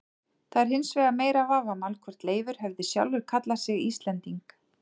Það er hins vegar meira vafamál hvort Leifur hefði sjálfur kallað sig Íslending.